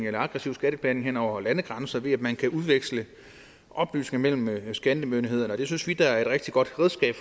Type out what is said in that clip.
aggressiv skatteplanlægning hen over landegrænser ved at man kan udveksle oplysninger mellem skattemyndighederne det synes vi er et rigtig godt redskab